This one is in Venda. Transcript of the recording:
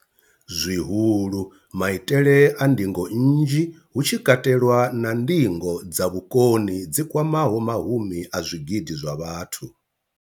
zwihulu, maitele a ndingo nnzhi, hu tshi katelwa na ndingo dza vhukoni dzi kwamaho mahumi a zwigidi zwa vhathu.